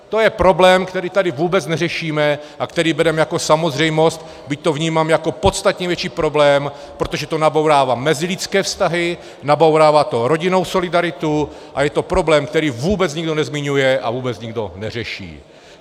To je problém, který tady vůbec neřešíme a který bereme jako samozřejmost, byť to vnímám jako podstatně větší problém, protože to nabourává mezilidské vztahy, nabourává to rodinnou solidaritu a je to problém, který vůbec nikdo nezmiňuje a vůbec nikdo neřeší.